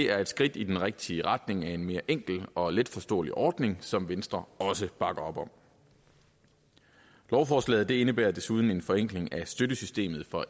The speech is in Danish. er et skridt i den rigtige retning af en mere enkel og letforståelig ordning som venstre også bakker op om lovforslaget indebærer desuden en forenkling af støttesystemet for